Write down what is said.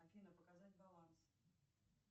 афина показать баланс